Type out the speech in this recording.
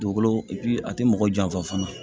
Dugukolo a ti mɔgɔ janfa fana